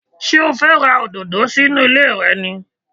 Ṣé o fẹ́ ra òdòdó sí inú ilé rẹ ni?